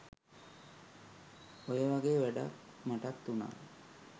ඔය වගේ වැඩක් මටත් උනා